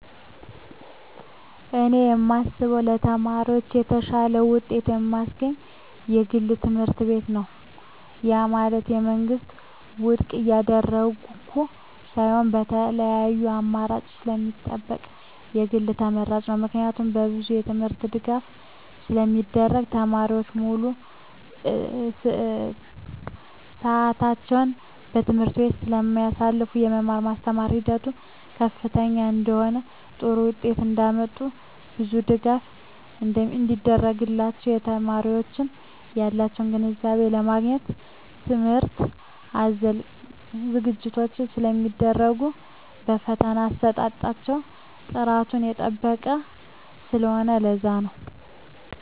እኔ የማስበው ለተማሪዎች የተሻለ ውጤት የማስገኝ የግል ትምህርትቤት ነው ያ ማለት የመንግስትን ውድቅ እያደረኩ ሳይሆን የተለያዪ አማራጭ ስለሚሰጠን የግል ተመራጭ ነው። ምክንያቱም በብዙ የትምህርት ድጋፍ ስለሚደረግ , ተማሪዎች ሙሉ ስዕታቸውን በትምህርት ቤቱ ስለማሳልፋ , የመማር ማስተማር ሂደቱ ከፍተኛ ስለሆነ ጥሩ ውጤት እንዳመጡ ብዙ ድጋፍ ስለሚደረግላቸው , የተማሪዎች ያላቸውን ግንዛቤ ለማግኘት ትምህርት አዘል ዝግጅቶች ስለሚደረጉ የፈተና አሰጣጣቸው ጥራቱን የጠበቀ ስለሆነ ለዛ ነው